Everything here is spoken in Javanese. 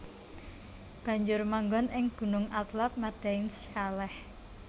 Banjur manggon ing Gunung Athlab Madain Shaleh